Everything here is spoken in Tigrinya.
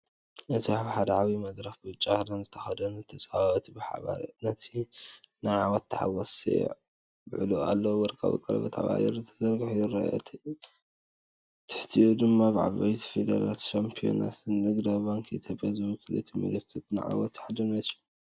እዚ ኣብ ሓደ ዓቢ መድረኽ ብጫ ክዳን ዝተኸድኑ ተጻወትቲ ብሓባር ነቲ ናይ ዓወት ተሓጓስ የብዕሉ ኣለዉ። ወርቃዊ ቀለቤት ኣብ ኣየር ተዘርጊሑ ይረአ፤ ኣብ ትሕቲኡ ድማ ብዓበይቲ ፊደላት'ሻምፕዮናት - ንግዳዊ ባንኪ ኢትዮጵያ'ይውክል። እዚ ምልክት ዓወትን ሓድነትን እዩ።